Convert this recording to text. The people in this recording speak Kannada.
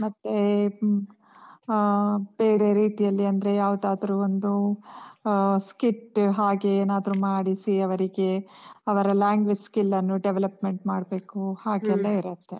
ಮತ್ತೇ ಆಹ್ ಬೇರೆ ರೀತಿಯಲ್ಲಿ, ಅಂದ್ರೆ ಯಾವ್ದಾದ್ರೂ ಒಂದೂ ಆಹ್ skit ಹಾಗೆ ಏನಾದ್ರೂ ಮಾಡಿಸಿ, ಅವರಿಗೆ ಅವರ language skill ಅನ್ನು development ಮಾಡ್ಬೇಕು, ಹಾಗೆಲ್ಲ ಇರತ್ತೆ.